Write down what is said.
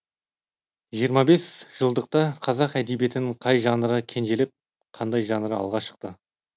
жиырма бес жылдықта қазақ әдебеиетінің қай жанры кенжелеп қандай жанры алға шықты